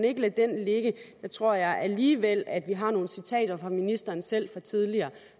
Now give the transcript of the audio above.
ikke lade den ligge der tror jeg alligevel at vi har nogle citater fra ministeren selv fra tidligere